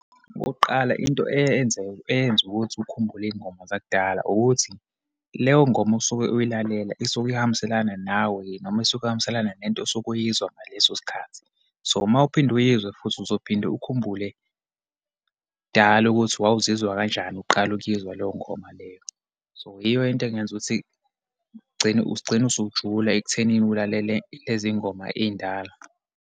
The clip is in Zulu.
Okokuqala, into eyeyenze, eyenza ukuthi ukhumbule iyingoma zakudala ukuthi, leyo ngoma osuke uyayilalela isuke ihambiselana nawe, noma isuke ihambiselana nento osuke uyizwa ngaleso sikhathi. So, uma uphinde uyizwa futhi, uzophinde ukhumbule kudala ukuthi wawuzizwa kanjani uqala ukuyizwa leyo ngoma leyo. So, yiyo into engenza ukuthi kugcine, ugcine usujuluka ekuthenini ulalele lezi yingoma eyindala.